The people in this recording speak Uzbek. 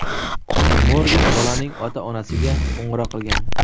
Morgan bolaning ota-onasiga qo‘ng‘iroq qilgan.